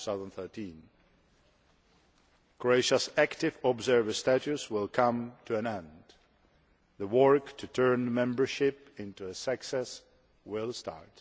2013. Croatia's active observer status will come to an end, and the work to turn membership into a success will start.